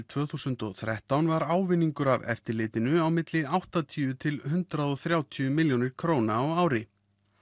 tvö þúsund og þrettán var ávinningur af eftirlitinu á milli áttatíu til eitt hundrað og þrjátíu milljónir króna á ári